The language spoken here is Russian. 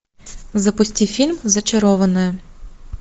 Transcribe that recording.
запусти фильм зачарованная